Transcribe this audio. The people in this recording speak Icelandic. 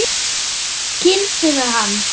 Kýldirðu hann?